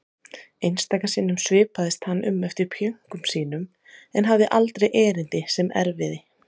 Einstaka sinnum svipaðist hann um eftir pjönkum sínum en hafði aldrei erindi sem erfiði.